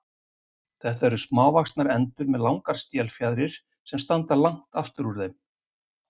Þetta eru smávaxnar endur með langar stélfjaðrir sem standa langt aftur úr þeim.